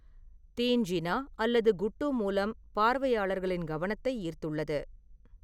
தீன்ஜினா' அல்லது 'குட்டு' மூலம் பார்வையாளர்களின் கவனத்தை ஈர்த்துள்ளது.